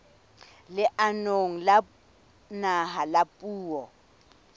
leanong la naha la puo